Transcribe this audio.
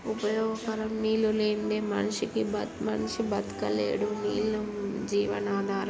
ఉపయోగకరం నీళ్ళు లేనిదే మనిషికి బత్ మనిషి బతకలేడు. నీళ్ళు జీవన ఆధారం